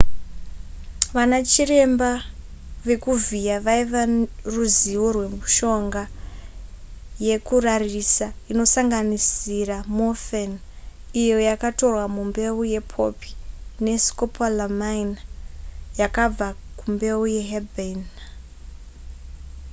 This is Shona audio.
vana chiremba vekuvhiya vaiva ruzivo rwemishonga yekurarisa inosanganisira morphine iyo yakatorwa mumbeu yepoppy ne scopolamine yakabva kumbeu yeherbane